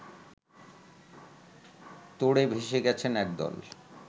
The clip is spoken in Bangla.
তোড়ে ভেসে গেছেন একদল